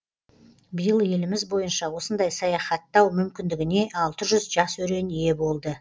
биыл еліміз бойынша осындай саяхаттау мүмкіндігіне алты жүз жас өрен ие болды